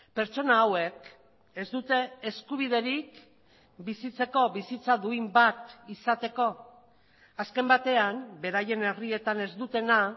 pertsona hauek ez dute eskubiderik bizitzeko bizitza duin bat izateko azken batean beraien herrietan ez dutena